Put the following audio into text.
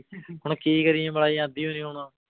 ਹੁਣ ਕੀ ਕਰੀਏ ਮਲਾਈ ਆਉਂਦੀ ਹੋਈ ਨੀ ਹੁਣ।